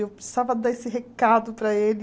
Eu precisava dar esse recado para ele.